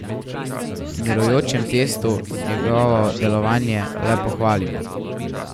V mirujočem testu njegovo delovanje le pohvalimo.